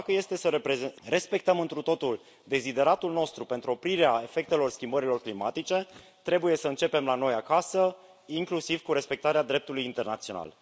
Deci, dacă este să respectăm întru totul dezideratul nostru pentru oprirea efectelor schimbărilor climatice, trebuie să începem la noi acasă, inclusiv cu respectarea dreptului internațional.